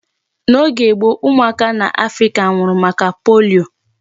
N'oge gboo, ụmụaka n'Africa nwụrụ maka polio.